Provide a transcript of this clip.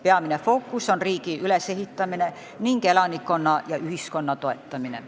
Peamine fookus on riigi ülesehitamine ning elanikkonna ja ühiskonna toetamine.